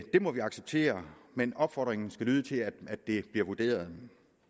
det må vi acceptere men opfordringen skal lyde til at det bliver vurderet